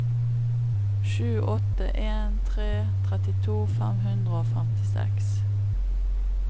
sju åtte en tre trettito fem hundre og femtiseks